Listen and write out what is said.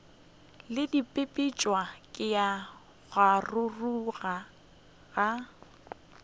le bipetšwe ka kgaruru ya